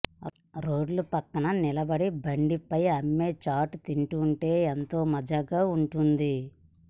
రోడ్ల పక్కన నిలబడి బండిపై అమ్మే చాట్ తింటుంటే ఎంతో మజాగా ఉంటుంది